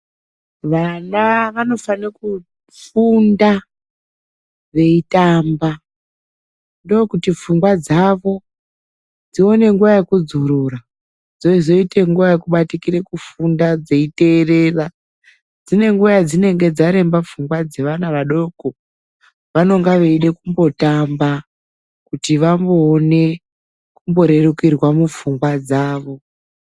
Vana vanofanire kufunda veitamba. Ndookuti pfungwa dzavo dzione nguwa yekudzorora, dzozoite nguwa yekubatikira kufunda dzeiteerera. Dzine nguwa yedzinenge dzaremba pfungwa dzevana vadoko. Vanonga veida kumbotamba kuti vamboone kumborerukirwa mupfungwa dzavo.